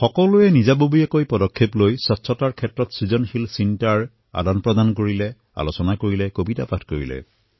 প্ৰত্যেকে নিজৰ নিজৰ তৰফৰ পৰা স্বচ্ছতা সন্দৰ্ভত সৃজনীমূলক উপায়সমূহ বিনিময় কৰিলে চৰ্চা কৰিলে কবিতা পাঠ কৰিলে